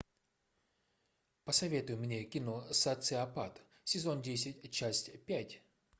посоветуй мне кино социопат сезон десять часть пять